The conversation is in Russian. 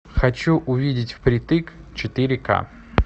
хочу увидеть впритык четыре ка